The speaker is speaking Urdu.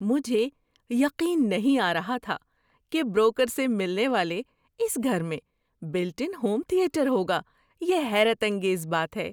مجھے یقین نہیں آ رہا تھا کہ بروکر سے ملنے والے اس گھر میں بلٹ ان ہوم تھیٹر ہوگا۔ یہ حیرت انگیز بات ہے!